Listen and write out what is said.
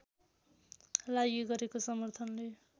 लागि गरेको समर्थनले